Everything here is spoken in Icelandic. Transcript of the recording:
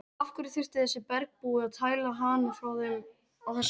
Af hverju þurfti þessi bergbúi að tæla hana frá þeim á þessari stundu?